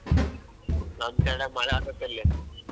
ನಮ್ side ಮಳೆ ಆತಾತಿಲ್ಲಿ.